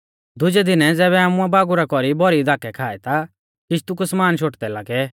दुजै दिनै ज़ैबै आमुऐ बागुरा कौरी भौरी धाकै खाऐ ता किश्ती कु समाना शोटदै लागै